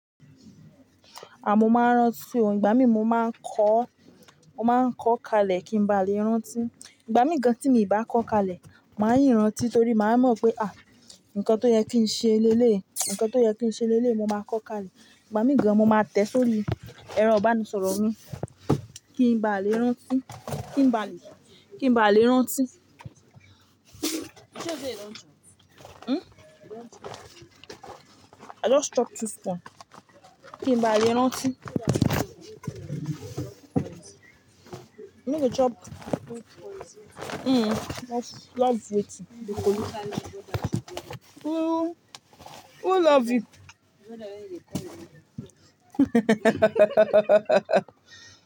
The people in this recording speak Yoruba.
À mó máa ń rántí ò. Ìgbà mí mo máa ń kọ́, mo máa ń kọ́ kalẹ̀ kí n ba lè rántí. Ìgbà mí gan tí mi ì bá kọ́ kalẹ̀, màá yìí rántí torí màá mọ̀ pé, àh! Ǹkan tó yẹ kí n ṣe léle, ǹkan tó yẹ kí n ṣe léle, mo máa kọ́ kalẹ̀. Ìgbà mí gan mo máa tẹ̀ sórí, ẹro ibanisọ̀rọ̀ mi kí n ba lè rántí, kí n ba lè, kí n ba lè rántí. Hmm? Iransẹ́. I just chop two phone. Kí n ba lè rántí. No go chop. Mm. Just love wetin Who, who love it?